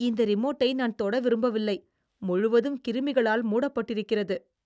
இந்த ரிமோட்டை நான் தொட விரும்பவில்லை, முழுவதும் கிருமிகளால் மூடப்பட்டிருக்கிறது.